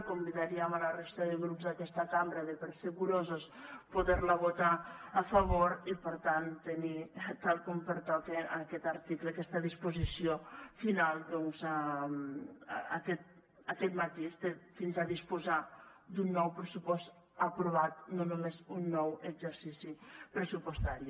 convidaríem la resta de grups d’aquesta cambra de per ser curosos poder la votar a favor i per tant tenir tal com pertoca en aquest article aquesta disposició final amb aquest matís de fins a disposar d’un nou pressupost aprovat no només un nou exercici pressupostari